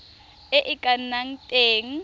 e e ka nnang teng